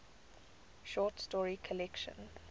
short story collection